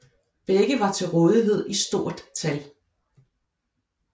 Begge var til rådighed i stort tal